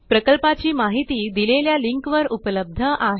प्रकल्पाची माहिती दिलेल्या लिंकवर उपलब्ध आहे